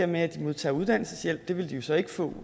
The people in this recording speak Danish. med at de modtager uddannelseshjælp det vil de jo så ikke få